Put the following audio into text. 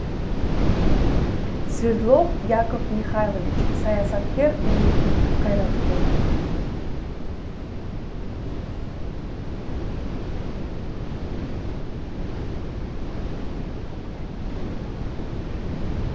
свердлов яков михайлович саясаткер мемлекеттік қайраткер